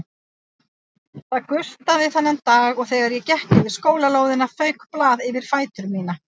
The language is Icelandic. Það gustaði þennan dag og þegar ég gekk yfir skólalóðina fauk blað yfir fætur mína.